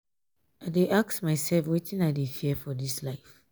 i dey ask mysef wetin i dey fear for dis life.